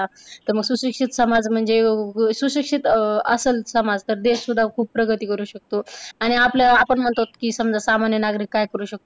त मग सुशिक्षित समाज म्हणजे सुशिक्षित अह असल जर समाज तर देश सुद्धा खूप प्रगती करू शकतो. आणि आपल्या अह आपण म्हणतोत की समजा सामान्य नागरिक काय करू शकतो